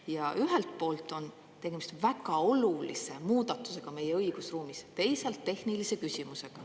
Ja ühelt poolt on tegemist väga olulise muudatusega meie õigusruumis, teisalt tehnilise küsimusega.